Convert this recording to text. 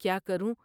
کیا کروں ۔